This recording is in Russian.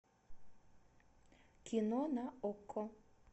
кино на окко